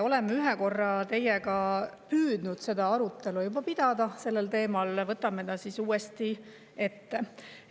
Oleme ühe korra teiega püüdnud arutelu sellel teemal juba pidada, võtame selle siis uuesti ette.